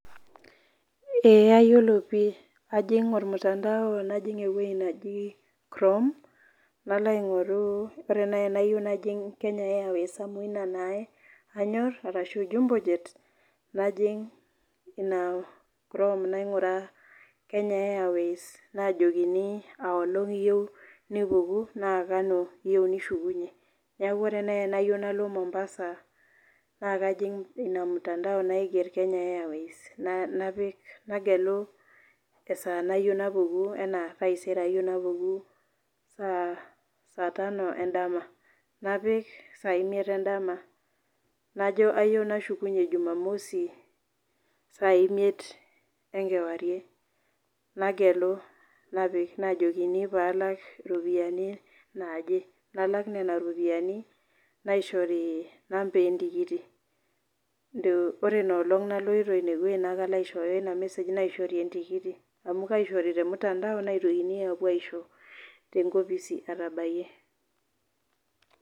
Ee ayilo ajo piii ajing ormutandao najing ewoi naji chrome nalo aingoru, ore naj anayieu najing airways amu ina na anyor ashu jumbo jet najing ina chrome nainguraa kenya airways nainguraa enkolong nipuku nakanyio iyeu nishukunye neaku ore nai tanayieu nalo mombasa nakajing inamtandao naiger kenya airways napik nagelu esaa nayiau napuku anaa taisere ayieu napuku saa tano endama napik saa tano endama najo kayieu nashukunye jumamosi sa imiet enkewarie nagelu napik najokini ropiyani naaje nalak nona ropiyani naishori namba entikiti ore inoolong naloito ineweuji nalo aishooyo iyo mesej naishori entikiti amu kaishori tormutandao naitokini apuo aisho tenkopis atabakiaki